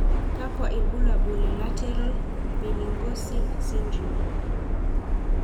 Kakwa ibulabul le lateral meningocele syndrome?